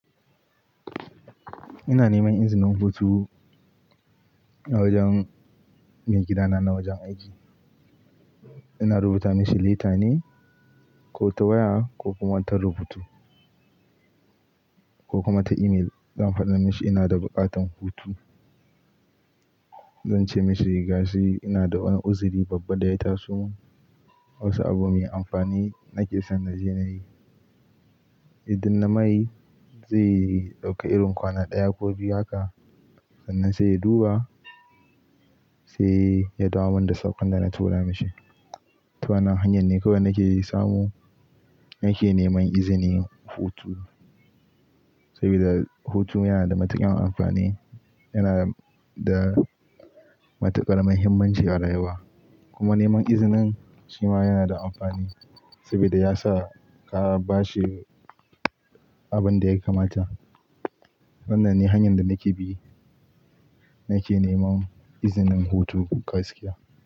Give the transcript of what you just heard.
Ina neman izinin hutu Wajen maigidana na wajen aiki. Ina rubuta mashi letter ne ko ta waya ko kuma ta rubutu ko kuma ta email. Zan faɗa mashi ina da buƙatan hutu. Zan ce mashi gashi ina da wani uzuri babba da ya taso. Wasu abu mai amfani nake son na je na yi. Idan na mai, zai ɗauka irin kwana ɗaya ko biyu haka. Sannan sai ya duba, sai ya dawo mana da saƙon da na tura mashi. Ta wannan hanyar ne kawai nake samu nake neman izinin hutu. Saboda hutu yana da matuƙar amfani, yana da matuƙar muhimmanci a rayuwa. Kuma neman izinin shi ma yana da amfani saboda ya sa ka ba shi abin da ya kamata. Nan ne hanyar da nake bi nake neman izinin hutu gaskiya.